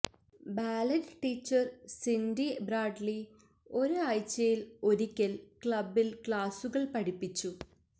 ballet teacher Cindy Bradley ഒരു ആഴ്ചയിൽ ഒരിക്കൽ ക്ലബിൽ ക്ലാസുകൾ പഠിപ്പിച്ചു